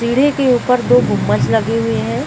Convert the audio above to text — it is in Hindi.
सीढ़ी के ऊपर तो गुंबज लगे हुए हैं।